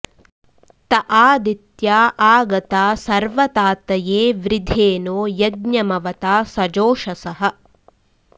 त आ॑दित्या॒ आ ग॑ता स॒र्वता॑तये वृ॒धे नो॑ य॒ज्ञम॑वता सजोषसः